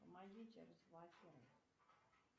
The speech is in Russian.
помогите разблокировать